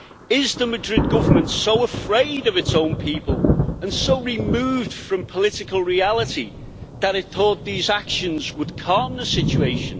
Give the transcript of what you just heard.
Is the Madrid Government so afraid of its own people and so removed from political reality that it thought these actions would calm the situation?